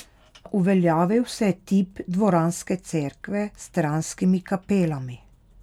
Uveljavil se je tip dvoranske cerkve s stranskimi kapelami.